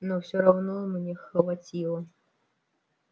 но всё равно мне хватило